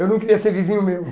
Eu não queria ser vizinho meu.